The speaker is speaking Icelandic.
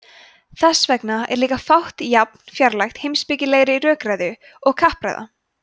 þess vegna er líka fátt jafn fjarlægt heimspekilegri rökræðu og kappræða